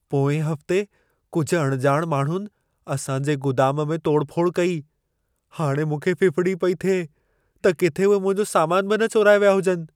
पोएं हफ़्ते कुझु अणॼाण माण्हुनि असां जे गुदाम में तोड़फोड़ कई। हाणे मूंखे फ़िफ़िड़ी पई थिए, त किथे उहे मुंहिंजो सामान बि न चोराए विया हुजनि।